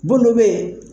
Bolo be yen